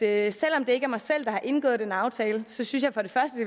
at selv om det ikke er mig selv der har indgået den aftale synes